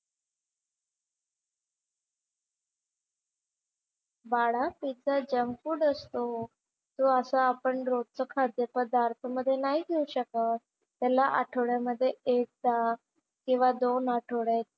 बाळा ते तर जंक फूड असतो. तो असा आपण रोजचं खाद्यपदार्थामध्ये नाही घेऊ शकत. त्याला आठवड्यामध्ये एकदा किंवा दोन आठवड्यात,